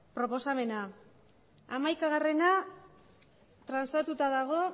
proposamena hamaikagarrena transatuta dago